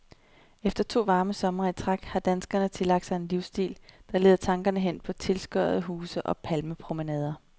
Efter to varme somre i træk har danskerne tillagt sig en livsstil, der leder tankerne hen på tilskoddede huse og palmepromenader.